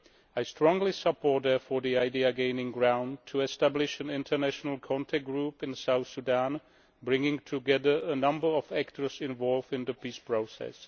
I strongly support, therefore, the idea gaining ground of establishing an international contact group in South Sudan, bringing together a number of actors involved in the peace process.